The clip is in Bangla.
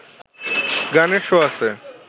গানের শো আছে